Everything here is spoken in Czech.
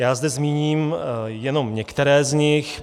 Já zde zmíním jenom některé z nich.